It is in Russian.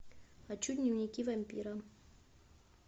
хочу дневники вампира